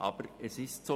Aber es ist so;